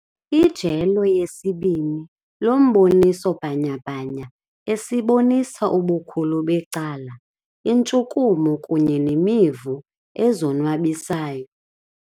Ijelo lesibini lomboniso bhanyabhanya esibonisa ubukhulu becala intshukumo kunye neemivu ezonwabisayo.